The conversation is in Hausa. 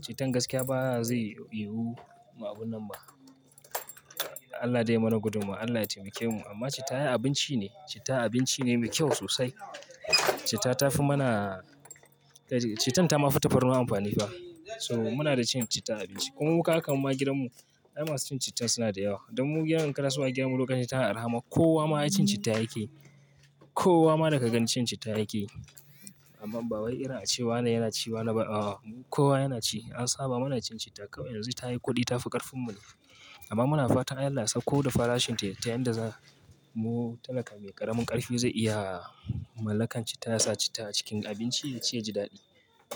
cittan gaskiya ba zai yiwu mu abu nan ba. Allah dai mana gudunmawa, Allah ya taimake mu amma citta ai abinci ne. Citta abinci ne me kyau sosai. Citta tafi mana, cittan ta ma fi tafarnuwa amfani fa. So muna da cin citta a abinci. Kuma mu kaka ma gidan mu, ƴan masu cin citta suna da yawa. Don mu gyaran ƙasa mu gyara lokacin ta araha ma kowa ma ya cin citta yake. Kowa ma da ka gani cin citta yake. Amma ba wai ina a ce wa na yana ci wa na ba. Kowa yana ci. An saba mana cin citta kawai yanzu ta yi kuɗi ta fi ƙarfin mu. Amma muna fata Allah sa ko da farashin ta ta yadda za mu talaka mai ƙaramin ƙarfi zai iya mallakan citta ya sa citta a cikin abinci ya ci ya ji daɗi.